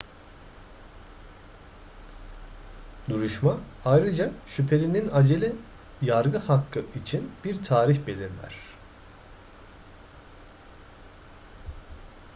duruşma ayrıca şüphelinin acele yargı hakkı için bir tarih belirler